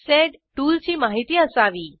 sed टूलची माहिती असावी